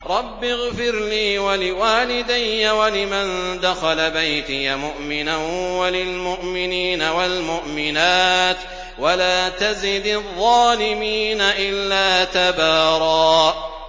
رَّبِّ اغْفِرْ لِي وَلِوَالِدَيَّ وَلِمَن دَخَلَ بَيْتِيَ مُؤْمِنًا وَلِلْمُؤْمِنِينَ وَالْمُؤْمِنَاتِ وَلَا تَزِدِ الظَّالِمِينَ إِلَّا تَبَارًا